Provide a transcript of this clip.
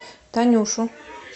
танюшу